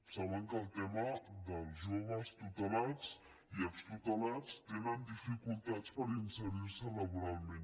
saben que el tema dels joves tutelats i extutelats tenen dificultats per inserir se laboralment